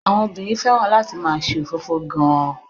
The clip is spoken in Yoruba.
Àwọn obìnrin fẹ́ràn láti máà ṣe òfófó gan-an.